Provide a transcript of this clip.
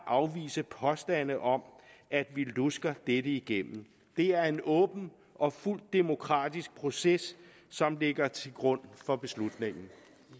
afvise påstande om at vi lusker dette igennem det er en åben og fuldt ud demokratisk proces som ligger til grund for beslutningen